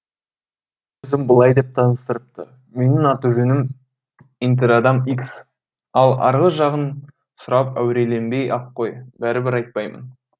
өзін былай деп таныстырыпты менің аты жөнім интерадам икс ал арғы жағын сұрап әуреленбей ақ қой бәрібір айтпаймын